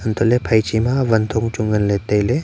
untohley phaiche ma wanthong chu nganley tailey.